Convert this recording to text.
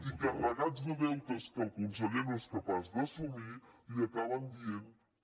i carregats de deutes que el conseller no és capaç d’assumir li acaben dient que